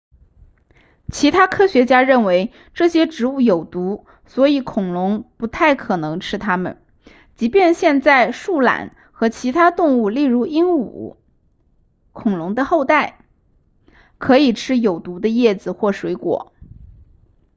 其他科学家认为这些植物有毒所以恐龙不太可能吃它们即便现在树懒和其他动物例如鹦鹉恐龙的后代可以吃有毒的叶子或水果